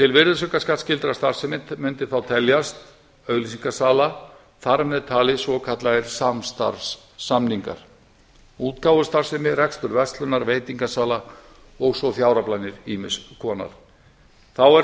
til virðisaukaskattsskyldrar starfsemi mundi þá teljast auglýsingasala þar með taldir svokallaðir samstarfssamningar útgáfustarfsemi rekstur verslunar veitingasala og svo fjáraflanir ýmiss konar þá er